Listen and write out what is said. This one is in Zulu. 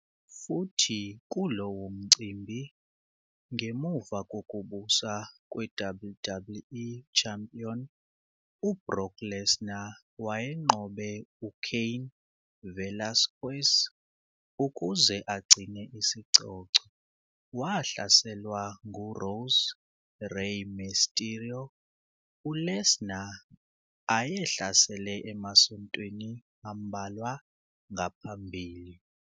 Futhi kulowo mcimbi, ngemva kokubusa kwe-WWE Champion u-Brock Lesnar wayenqobe u-Cain Velasquez ukuze agcine isicoco, wahlaselwa ngu-Raw's Rey Mysterio, u-Lesnar ayehlasele emasontweni ambalwa ngaphambili.